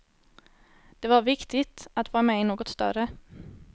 Det var viktigt, att vara med i något större.